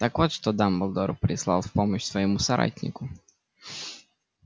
так вот что дамблдор прислал в помощь своему соратнику